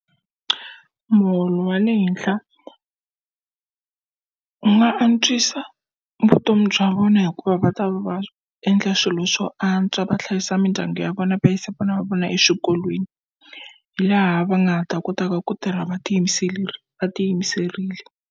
Muholo wa le henhla wu nga antswisa vutomi bya vona hikuva va ta va endla swilo swo antswa va hlayisa mindyangu ya vona, va yisa vana va vona eswikolweni. Laha va nga ha ta kotaka ku tirha va va tiyimiserile.